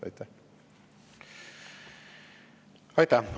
Aitäh!